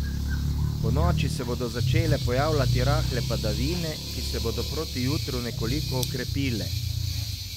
Ponoči se bodo začele pojavljati rahle padavine, ki se bodo proti jutru nekoliko okrepile.